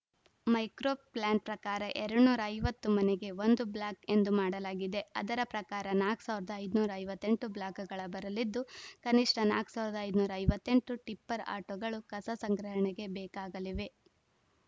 micro plan ಪ್ರಕಾರ ಎರಡ್ನೂರ ಐವತ್ತು ಮನೆಗೆ ಒಂದು ಬ್ಲಾಕ್‌ ಎಂದು ಮಾಡಲಾಗಿದೆ ಅದರ ಪ್ರಕಾರ ನಾಲ್ಕ್ ಸಾವಿರದ ಐನೂರ ಐವತ್ತ್ ಎಂಟು ಬ್ಲಾಕ್‌ಗಳ ಬರಲಿದ್ದು ಕನಿಷ್ಠ ನಾಲ್ಕ್ ಸಾವಿರದ ಐನೂರ ಐವತ್ತ್ ಎಂಟು ಟಿಪ್ಪರ್‌ ಆಟೋಗಳು ಕಸ ಸಂಗ್ರಹಣೆಗೆ ಬೇಕಾಗಲಿವೆ